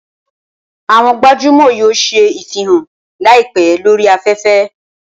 Awọn gbajumọ yoo ṣe ifihan laipẹ lori afẹfẹ.